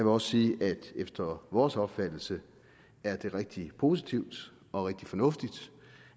også sige at efter vores opfattelse er det rigtig positivt og rigtig fornuftigt